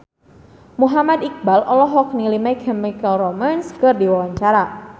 Muhammad Iqbal olohok ningali My Chemical Romance keur diwawancara